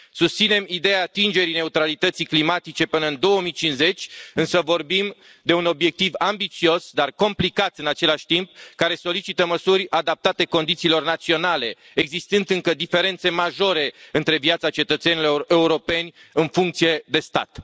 Susținem ideea atingerii neutralității climatice până în 2050, însă vorbim de un obiectiv ambițios, dar complicat în același timp care solicită măsuri adaptate condițiilor naționale, existând, încă, diferențe majore între viața cetățenilor europeni, în funcție de stat.